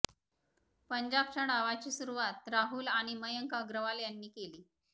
पंजाबच्या डावाची सुरूवात राहुल आणि मयांक अग्रवाल यांनी केली